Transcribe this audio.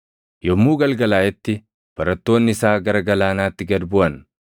Yommuu galgalaaʼetti barattoonni isaa gara galaanaatti gad buʼan;